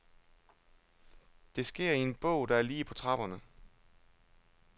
Det sker i en bog, der er lige på trapperne.